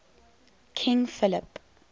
king philip